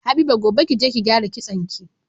Habiba gobe kije ki gyara kitson ki